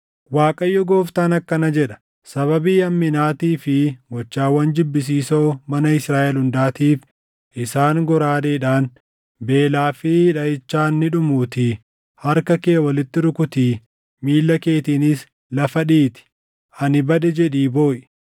“‘ Waaqayyo Gooftaan akkana jedha: Sababii hamminaatii fi gochaawwan jibbisiisoo mana Israaʼel hundaatiif isaan goraadeedhaan, beelaa fi dhaʼichaan ni dhumuutii harka kee walitti rukutii, miilla keetiinis lafa dhiitii, “Ani bade!” jedhii booʼi.